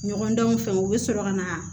Ɲɔgɔndanw fɛ u bɛ sɔrɔ ka na